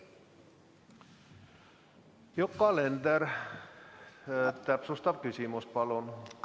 Yoko Alender, täpsustav küsimus, palun!